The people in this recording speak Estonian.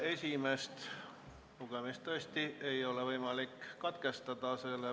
Esimest lugemist tõesti ei ole võimalik katkestada.